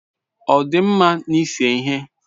Ọ dị mma n'ise ihe?